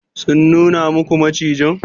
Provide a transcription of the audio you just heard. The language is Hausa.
Sun nuna muku macijin?